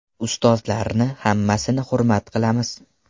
Ustozlarni hammasini hurmat qilamiz.